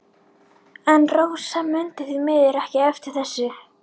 En Rósa mundi því miður ekki eftir þessu.